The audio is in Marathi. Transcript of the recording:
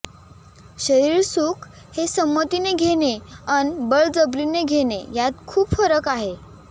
शरिरसुख हे समंती ने घेणे अन बळजबरीने घेणे यात खुप फरख आहे